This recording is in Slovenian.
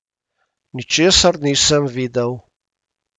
Ničesar nisem videl.